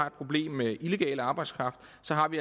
et problem med illegal arbejdskraft